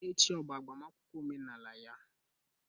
Echi ọ bụ agbamakwụkwọ omenala ya?